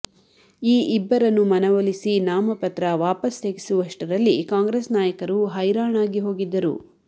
ಈ ಇಬ್ಬರನ್ನು ಮನವೊಲಿಸಿ ನಾಮಪತ್ರ ವಾಪಸ್ ತೆಗೆಸುವಷ್ಟರಲ್ಲಿ ಕಾಂಗ್ರೆಸ್ ನಾಯಕರು ಹೈರಾಣಾಗಿ ಹೋಗಿದ್ದರು